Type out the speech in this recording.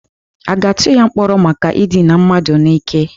A ga-atụba ya mkpọrọ maka idina mmadụ n'ike?